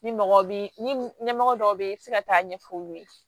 Ni mɔgɔ bi ɲɛmɔgɔ dɔw be yen i bi se ka taa ɲɛfɔ olu ye